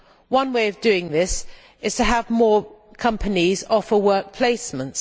One way of doing this is to have more companies offer work placements.